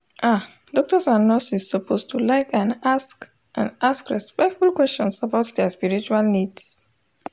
ah doctors and nurses suppose to like and ask and ask respectful questions about dia spiritual needs